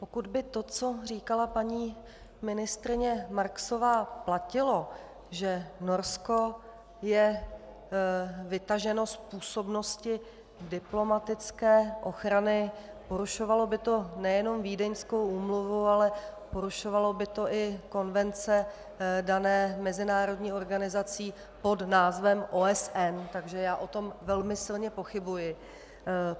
Pokud by to, co říkala paní ministryně Marksová, platilo, že Norsko je vytaženo z působnosti diplomatické ochrany, porušovalo by to nejenom Vídeňskou úmluvu, ale porušovalo by to i konvence dané mezinárodní organizací pod názvem OSN, takže já o tom velmi silně pochybuji.